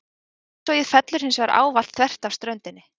Útsogið fellur hins vegar ávallt þvert af ströndinni.